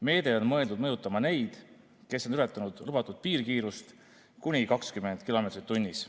Meede on mõeldud mõjutama neid, kes on ületanud lubatud piirkiirust kuni 20 kilomeetrit tunnis.